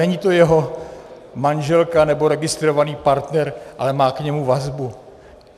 Není to jeho manželka nebo registrovaný partner, ale má k němu vazbu?